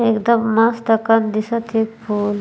एकदम मस्त एकन दिखत हे इ फूल --